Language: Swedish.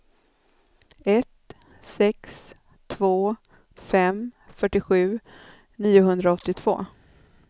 ett sex två fem fyrtiosju niohundraåttiotvå